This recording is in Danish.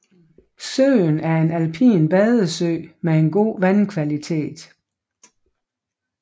Søen er en alpin badesø med en god vandkvalitet